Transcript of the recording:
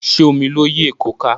Ṣé omi ló yí èkó ka?